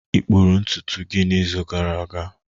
ị kpụrụ ntutu gị n'izu gara aga?